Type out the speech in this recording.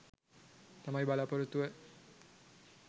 තමයි බලා‍පොරොත්තුව.